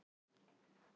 Saga bergs og lands.